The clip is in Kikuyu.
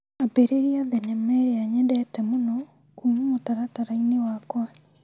Ambĩrĩria thinema ĩrĩa nyendete mũno kuma mũtaratara-inĩ wakwa .